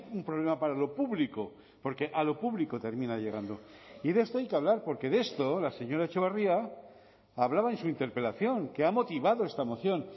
un problema para lo público porque a lo público termina llegando y de esto hay que hablar porque de esto la señora etxebarria hablaba en su interpelación que ha motivado esta moción